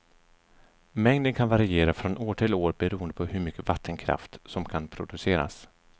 Mängden kan variera från år till år beroende på hur mycket vattenkraft som kan produceras.